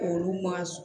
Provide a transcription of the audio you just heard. Olu ma